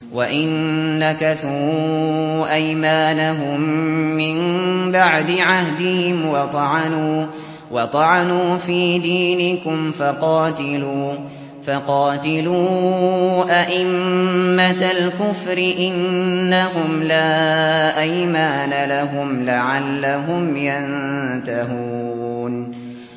وَإِن نَّكَثُوا أَيْمَانَهُم مِّن بَعْدِ عَهْدِهِمْ وَطَعَنُوا فِي دِينِكُمْ فَقَاتِلُوا أَئِمَّةَ الْكُفْرِ ۙ إِنَّهُمْ لَا أَيْمَانَ لَهُمْ لَعَلَّهُمْ يَنتَهُونَ